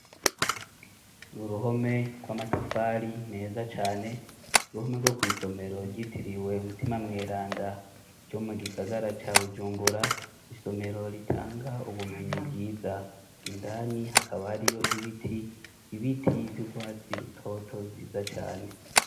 Uruhome rw'amatafari meza cane uruhome rwo kwisomero ryitiriwe umutima mweranda ryo mu gisagara ca Bujumbura isomero ritanga ubumenyi bwiza indani hakaba hariyo ibiti ibiti vy'urwatsi rutoto vyiza cane.